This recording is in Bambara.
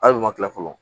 Hali u ma kila fɔlɔ